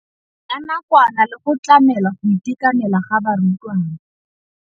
Ya nakwana le go tlamela go itekanela ga barutwana.